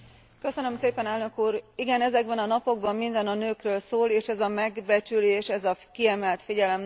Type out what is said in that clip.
Igen, ezekben a napokban minden a nőkről szól, és ez a megbecsülés, ez a kiemelt figyelem nagyon fontos számunkra.